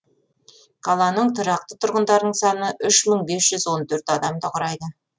қаланың тұрақты тұрғындарының саны үш мың бес жүз он төрт адамды құрайды